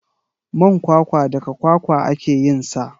Man kwakwa daga kwakwa ake yinsa.